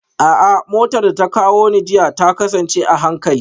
A'a, motar da ta kawo ni jiya ta kasance a hankali